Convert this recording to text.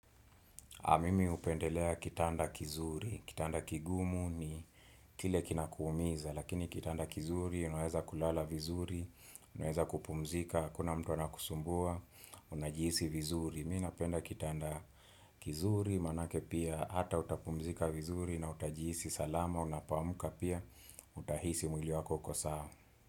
Mimi hupendelea kitanda kizuri, kitanda kigumu ni kile kinakuumiza, lakini kitanda kizuri, unaweza kulala vizuri, unaweza kupumzika, hakuna mtu anakusumbua, unajihisi vizuri. Mi napenda kitanda kizuri, maanake pia hata utapumzika vizuri na utajihisi salama, unapoamka pia, utahisi mwili wako uko sawa.